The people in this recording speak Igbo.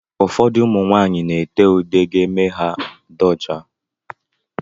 Ụfọdụ ụmụ nwanyị n'ete ude ga eme ha dị ọcha.